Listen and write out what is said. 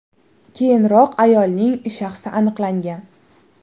Keyinroq ayolning shaxsi aniqlangan.